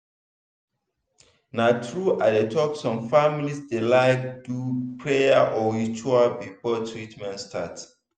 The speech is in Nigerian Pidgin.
na true i dey talk some families dey like do prayer or ritual before treatment start.